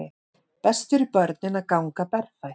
Best fyrir börnin að ganga berfætt